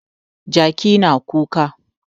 Jaki yana kuka.